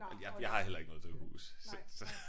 Jeg jeg har heller ikke noget drivhus så så